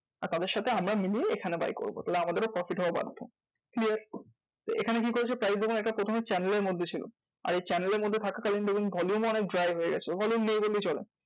আর তাদের সাথে আমরা মিলিয়ে এখানে buy করবো তাহলে আমাদেরও profit হওয়া বাধ্য clear? তো এখানে কি করেছে? price দেখুন একটা প্রথমে channel এর মধ্যে ছিলো আর এই channel এর মধ্যে থাকাকালীন দেখুন volume ও অনেক dry হয়ে গেছে। volume নেই বললেই চলে।